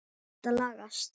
Þetta lagast.